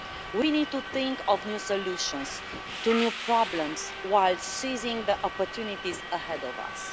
We need to think of new solutions to new problems whilst seizing the opportunities ahead of us.